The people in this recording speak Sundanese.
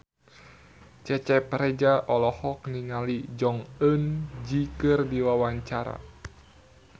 Cecep Reza olohok ningali Jong Eun Ji keur diwawancara